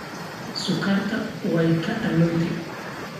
Suukarta waay kaalowte.